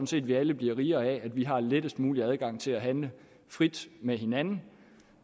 set at vi alle bliver rigere af at vi har lettest mulig adgang til at handle frit med hinanden